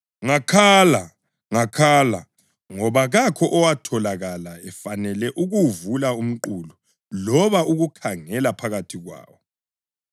Ngakhala, ngakhala ngoba kakho owatholakala efanele ukuwuvula umqulu loba ukukhangela phakathi kwawo.